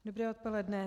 Dobré odpoledne.